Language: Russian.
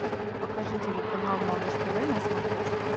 покажи телеканал малыш тв на смотрешке